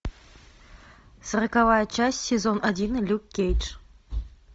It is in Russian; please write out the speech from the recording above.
сороковая часть сезон один люк кейдж